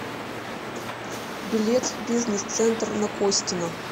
билет бизнес центр на костина